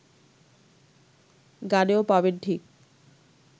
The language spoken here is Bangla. গানেও পাবেন ঠিক